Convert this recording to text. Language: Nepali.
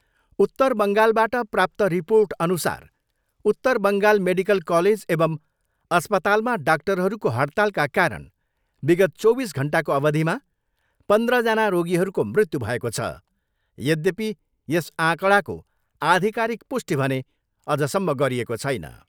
उत्तर बङ्गालबाट प्राप्त रिर्पोटअनुसार उत्तर बङ्गाल मेडिकल कालेज एवम् अस्पतालमा डाक्टरहरूको हडतालका कारण विगत चौबिस घन्टाको अवधिमा पन्द्रजना रोगीहरूको मृत्यु भएको छ यध्यपि यस आँकडाको आधिकारिक पुष्टि भने अझसम्म गरिएको छैन।